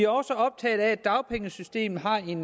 også optaget af at dagpengesystemet har en